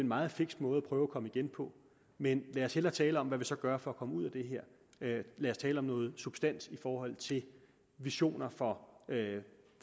meget fiks måde at prøve at komme igen på men lad os hellere tale om hvad vi så gør for at komme ud af det her lad os tale om noget substans i forhold til visioner for